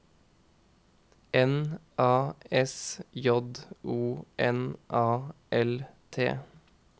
N A S J O N A L T